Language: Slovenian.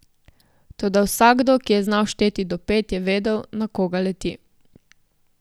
Toda vsakdo, ki je znal šteti do pet, je vedel, na koga leti.